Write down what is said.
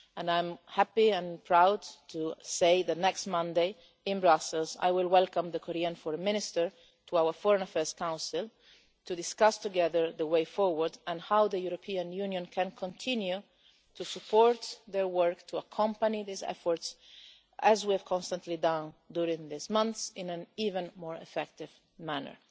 I am happy and proud to say that next Monday in Brussels, I will welcome the Korean Foreign Minister to our Foreign Affairs Council to discuss together the way forward and how the European Union can continue to support their work to accompany these efforts, as we have constantly done during this month, in an even more effective manner.